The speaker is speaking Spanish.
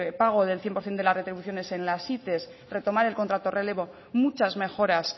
pago del cien por ciento de las retribuciones en las it retomar el contrato relevo muchas mejoras